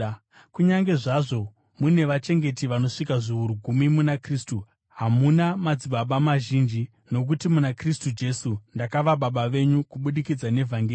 Kunyange zvazvo mune vachengeti vanosvika zviuru gumi muna Kristu, hamuna madzibaba mazhinji, nokuti muna Kristu Jesu ndakava baba venyu kubudikidza nevhangeri.